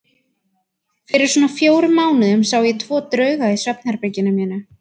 Fyrir svona fjórum mánuðum sá ég tvo drauga í svefnherberginu mínu.